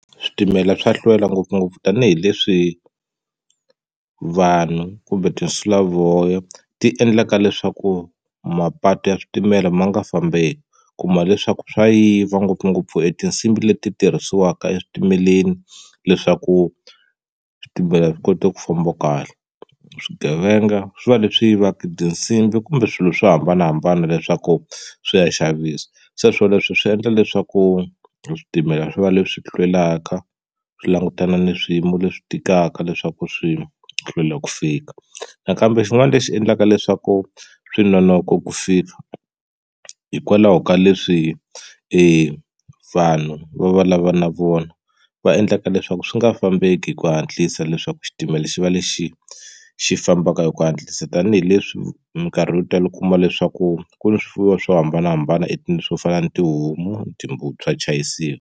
Switimela swa hlwela ngopfungopfu tanihileswi vanhu kumbe tinsulavoya ti endlaka leswaku mapatu ya switimela ma nga fambeki u ku ma leswaku swa yiva ngopfungopfu etinsimbhi leti tirhisiwaka eswitimeleni leswaku switimela swi koti ku famba kahle swigevenga swi va leswi yivaka tinsimbhi kumbe swilo swo hambanahambana leswaku swi ya xavisa se swoleswo swi endla leswaku switimela swi va leswi hlwelaka swi langutana na swiyimo leswi tikaka leswaku swi hlwela ku fika nakambe xin'wana lexi endlaka leswaku swi nonoka ku fika hikwalaho ka leswi evanhu va va lava na vona va endlaka leswaku swi nga fambeki hi ku hatlisa leswaku xitimela xi va lexi xi fambaka hi ku hatlisa tanihileswi minkarhi yo tala u kuma leswaku ku ni swifuwo swo hambanahambana swo fana na tihomu timbuti swa chayisiwa.